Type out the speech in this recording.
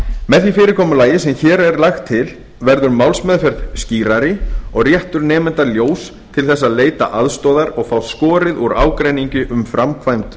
með því fyrirkomulagi sem hér er lagt til verður málsmeðferð skýrari og réttur nemanda ljós til þess að leita aðstoðar og fá skorið úr ágreiningi um framkvæmd